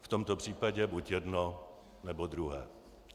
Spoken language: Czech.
V tomto případě buď jedno, nebo druhé.